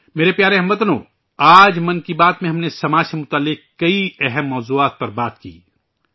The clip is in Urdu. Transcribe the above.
میرے پیارے اہل وطن ، آج ' من کی بات ' میں ہم نے سماج سے جڑے کئی اہم موضوعات پر بات چیت کی